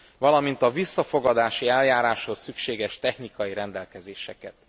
valamint a visszafogadási eljáráshoz szükséges technikai rendelkezéseket.